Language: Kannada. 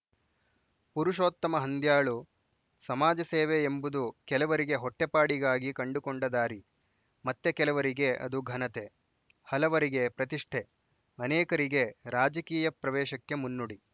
ಪುರುಷೋತ್ತಮ ಹಂದ್ಯಾಳು ಸಮಾಜಸೇವೆ ಎಂಬುದು ಕೆಲವರಿಗೆ ಹೊಟ್ಟೆಪಾಡಿಗಾಗಿ ಕಂಡುಕೊಂಡ ದಾರಿ ಮತ್ತೆ ಕೆಲವರಿಗೆ ಅದು ಘನತೆ ಹಲವರಿಗೆ ಪ್ರತಿಷ್ಠೆ ಅನೇಕರಿಗೆ ರಾಜಕೀಯ ಪ್ರವೇಶಕ್ಕೆ ಮುನ್ನುಡಿ